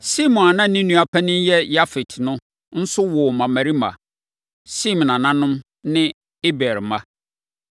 Sem a na ne nua panin ne Yafet no nso woo mmammarima. Sem nananom ne Eber mma.